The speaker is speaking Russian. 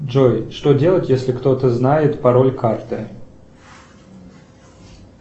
джой что делать если кто то знает пароль карты